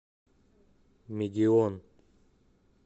мегион